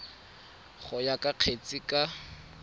go ya ka kgetse ka